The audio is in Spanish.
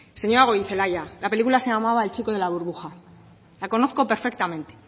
señora goirizelaia la película se llamaba el chico de la burbuja la conozco perfectamente